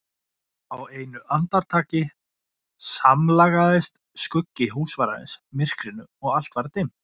Á einu andartaki samlagaðist skuggi húsvarðarins myrkrinu og allt var dimmt.